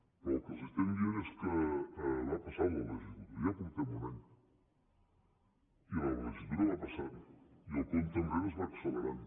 però el que els estem dient és que va passant la legislatura ja portem un any i la legislatura va passant i el compte enrere es va accelerant